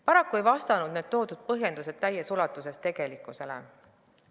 Paraku ei vasta need põhjendused täies ulatuses tegelikkusele.